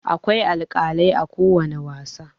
Akwai alkalai a kowani wasa.